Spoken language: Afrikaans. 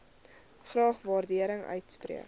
graag waardering uitspreek